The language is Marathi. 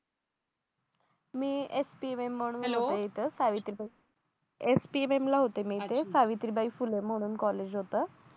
मी एफ टी वेम म्हणून हॅलो होते इथ सावित्रीबाई एफ टी वेमला होते मी इथे सावित्रीबाई फुले म्हणून कॉलेज होतं